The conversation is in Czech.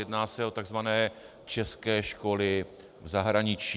Jedná se o tzv. české školy v zahraničí.